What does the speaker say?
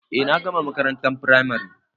Eh na gama makarantar firamare